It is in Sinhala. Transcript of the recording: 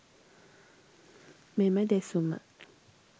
මෙම දෙසුම